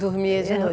Dormia de noite?